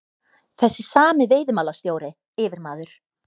Þessi sami veiðimálastjóri, yfirmaður